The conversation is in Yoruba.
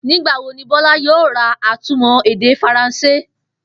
Nígbà wo ni Bó̩lá yóò ra atúmò̩-èdè Faransé?